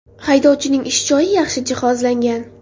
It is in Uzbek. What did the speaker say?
Haydovchining ish joyi yaxshi jihozlangan.